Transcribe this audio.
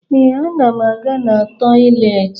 Ee, ana m aga na tọyịleetị